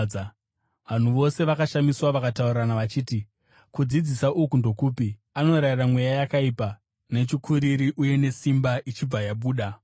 Vanhu vose vakashamiswa vakataurirana vachiti, “Kudzidzisa uku ndokupi? Anorayira mweya yakaipa nechikuriri uye nesimba, ichibva yabuda!”